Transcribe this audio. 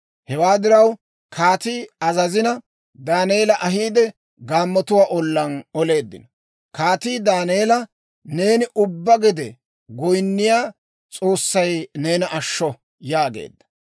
Hewaa diraw, kaatii azazina, Daaneela ahiide, gaammotuwaa ollaan oleeddino. Kaatii Daaneela, «Neeni ubbaa gede goyinniyaa S'oossay neena ashsho» yaageedda.